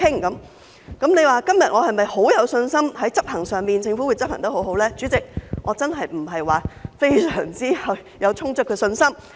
如果問我今天是否十分有信心，政府在執行上會做得很好，代理主席，我真的不是有非常充足的信心。